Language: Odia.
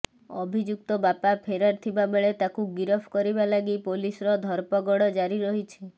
ଅଭିଯୁକ୍ତ ବାପା ଫେରାର ଥିବାବେଳେ ତାକୁ ଗିରଫ କରିବା ଲାଗି ପୋଲିସର ଧରପଗଡ ଜାରି ରହିଛି